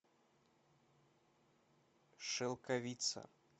шелковица